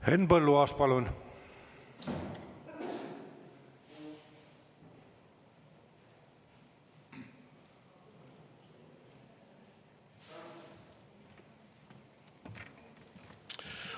Henn Põlluaas, palun!